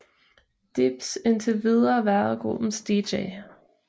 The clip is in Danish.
Dibbs indtil videre været gruppens dj